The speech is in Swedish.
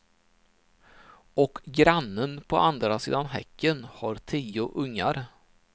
Och grannen på andra sidan häcken har tio ungar.